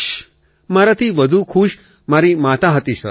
અખિલ મારાથી વધુ ખુશ મારી મા હતી સર